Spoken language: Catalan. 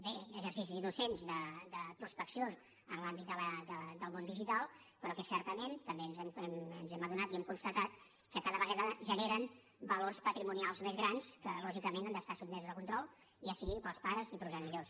bé exercicis innocents de prospecció en l’àmbit del món digital però que certament també ens hem adonat i hem constatat que cada vegada generen valors patrimonials més grans que lògicament han d’estar sotmesos a control ja sigui pels pares i progenitors